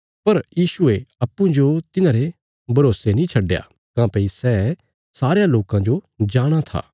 पर यीशुये अप्पूँजो तिन्हांरे भरोसे नीं छड्डया काँह्भई सै सारयां लोकां जो जाणाँ था